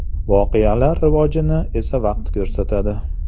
Voqealar rivojini esa vaqt ko‘rsatadi.